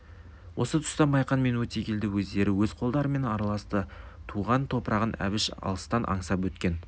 ол тұста да майқан мен өтегелді өздері өз қолдарымен араласты туған топырағын әбіш алыстан аңсап өткен